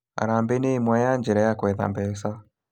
Harambĩ nĩ ĩmwe ya njĩra ya gwetha mbeca